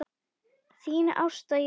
Þín Ásta Jóna.